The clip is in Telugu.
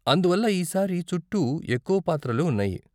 అందువల్ల ఈ సారి చుట్టూ ఎక్కువ పాత్రలు ఉన్నాయి.